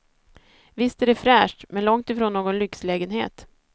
Visst är det fräscht, men långt ifrån någon lyxlägenhet.